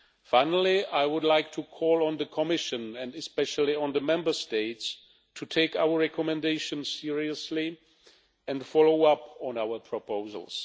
Finally, I would like to call on the Commission and especially on the Member States to take our recommendations seriously and to follow up on our proposals.